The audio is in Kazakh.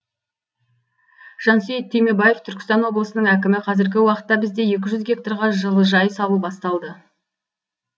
жансейіт түймебаев түркістан облысының әкімі қазіргі уақытта бізде екі жүз гектарға жылыжай салу басталды